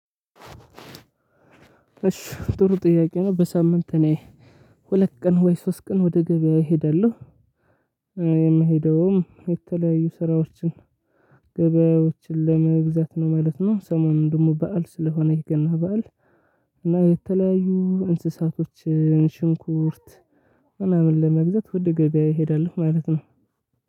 እሺ ጥሩ ጥያቄ ነው? በሳምንት እኔ ሁለት ቀን ወይ ሶስት ቀን ወደ ገበያ እሄዳለሁ። የምሄደውም የተለያዩ ስራዎችን ገበያዎችን ለመግዛት ነው ማለት ነው። ሰሞኑን ደግሞ በዓል ስለሆነ የገና በዓል እና የተለያዩ እንስሳቶችን ሽንኩርት ምናምን ለመግዛት ውደ ገበያ እሄዳለሁ። ማለት ነው።